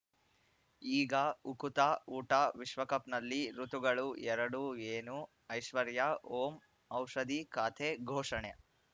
ಈಗ ಉಕುತ ಊಟ ವಿಶ್ವಕಪ್‌ನಲ್ಲಿ ಋತುಗಳು ಎರಡು ಏನು ಐಶ್ವರ್ಯಾ ಓಂ ಔಷಧಿ ಖಾತೆ ಘೋಷಣೆ